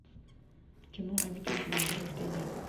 кино обитель зла вырождение